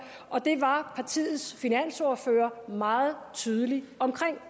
og det var partiets finansordfører meget tydelig omkring